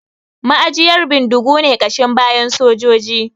Ma'ajiyar bindigu ne ƙashin bayan sojojin